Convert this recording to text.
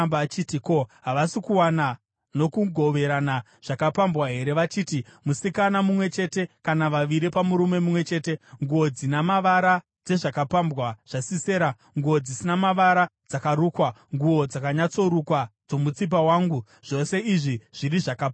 ‘Ko, havasi kuwana nokugoverana zvakapambwa here vachiti, musikana mumwe chete kana vaviri pamurume mumwe chete, nguo dzina mavara dzezvakapambwa zvaSisera, nguo dzina mavara dzakarukwa, nguo dzakanyatsorukwa dzomutsipa wangu, zvose izvi zviri zvakapambwa?’